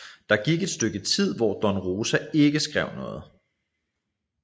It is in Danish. Der gik et stykke tid hvor Don Rosa ikke skrev noget